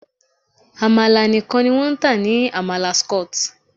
Àmàlà nìkan ni wọ́n ń tà ní Amala Skot.